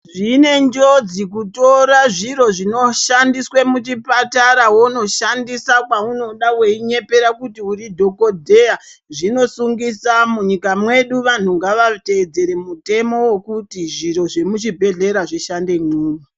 Zvine njodzi kutora zviro zvino shandiswa muchipatara wondo shandisa kwaunoda uchinyepera kunge uri dhokodheya zvinosungisa munyika mwedu vantu ngavatedzere mutemo wekuti zviro zvemu chibhedhlera zvishandemwo.